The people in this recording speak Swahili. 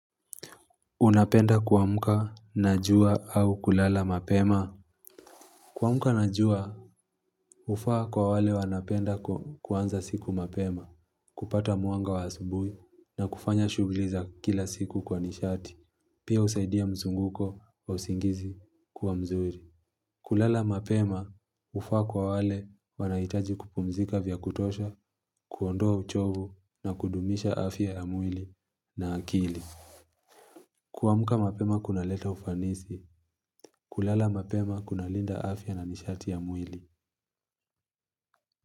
Unapenda kuamka na jua au kulala mapema? Kuamka na jua hufaa kwa wale wanapenda kuanza siku mapema, kupata mwanga wa asubuhi na kufanya shughuli za kila siku kwa nishati, pia husaidia mzunguko wa usingizi kuwa mzuri. Kulala mapema hufaa kwa wale wanahitaji kupumzika vya kutosha, kuondoa uchovu na kudumisha afya ya mwili na akili. Kuamka mapema kunaleta ufanisi, kulala mapema kunalinda afya na nishati ya mwili.